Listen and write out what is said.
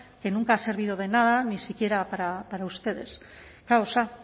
que nunca ha servido de nada ni siquiera para ustedes kaosa